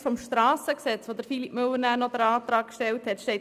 Im Antrag von Philippe Müller zu Artikel 68 Absatz 1